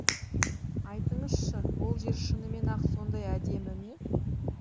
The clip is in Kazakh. айтыңызшы ол жер шынымен ақ сондай әдемі ме